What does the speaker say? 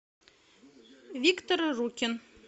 виктор рукин